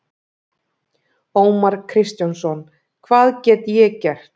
Ómar Kristjánsson: Hvað get ég gert?